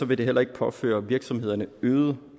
vil det heller ikke påføre virksomhederne øgede